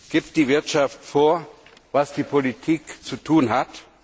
Gibt die Wirtschaft vor, was die Politik zu tun hat?